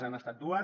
han estat dues